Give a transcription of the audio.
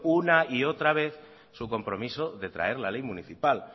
una y otra vez su compromiso de traer la ley municipal